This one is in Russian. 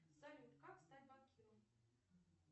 салют как стать банкиром